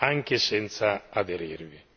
anche senza aderirvi.